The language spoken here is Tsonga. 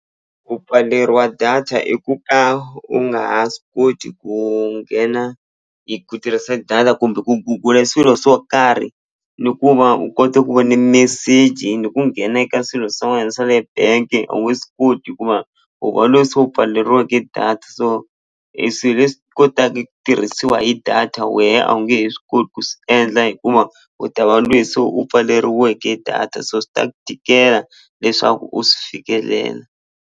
Ku pfaleriwa data i ku ka u nga ha swi koti ku nghena hi ku tirhisa data kumbe ku gugula e swilo swo karhi ni ku va u kote ku vona meseji ni ku nghena eka swilo swa wena swa le bank-e a wu swi koti hikuva u va loyi se u pfaleriweke data so e swilo leswi kotaka eku tirhisiwa hi data wehe a wu nge he swi koti ku swi endla u ta va lweyi se u pfaleriweke data so swi ta tikela leswaku u swi fikelela.